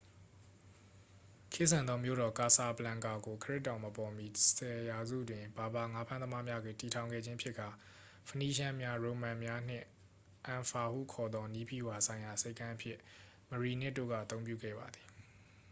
ခေတ်ဆန်သောမြို့တော် ကာဆာဘလန်ကာ ကို ခရစ်တော်မပေါ်မီ 10 ရာစု တွင် ဘာဘာ ငါးဖမ်းသမားများက တည်ထောင်ခဲ့ခြင်းဖြစ်ကာ ဖနီးရှန်းများ ရိုမန်များ နှင့် အန်ဖာ ဟုခေါ်သော နည်းဗျူဟာဆိုင်ရာဆိပ်ကမ်းအဖြစ် မရီနစ် တို့က အသုံးပြုခဲ့ပါသည်